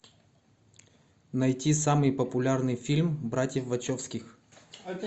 найти самый популярный фильм братьев вачовски